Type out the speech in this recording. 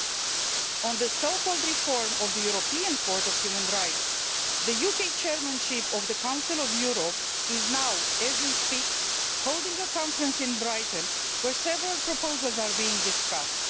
Concerning the so called reform of the European Court of Human Rights, the UK Chairmanship of the Council of Europe is now as we speak holding a conference in Brighton, where several proposals are being discussed.